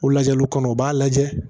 O lajɛliw kɔnɔ u b'a lajɛ